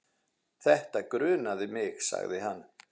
Þetta grunaði mig sagði hann.